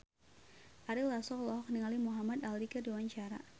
Ari Lasso olohok ningali Muhamad Ali keur diwawancara